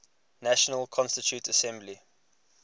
national constituent assembly